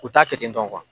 U t'a kɛ ten tɔ